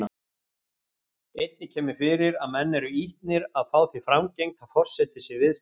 Einnig kemur fyrir að menn eru ýtnir að fá því framgengt að forseti sé viðstödd.